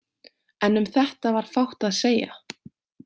En um þetta var fátt að segja.